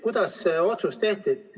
Kuidas see otsus tehti?